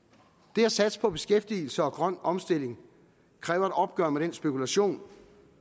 det at satse på beskæftigelse og grøn omstilling kræver et opgør med den spekulation